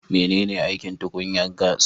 Menene aikin tukunyan gas?